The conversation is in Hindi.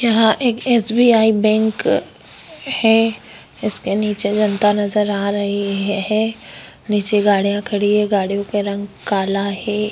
यहाँ एक एस बि आई बैंक हैं इसके नीचे जनता नज़र आ रही हैं नीचे गाड़िया खड़ी हैं गाड़ियों क रंग काला हैं।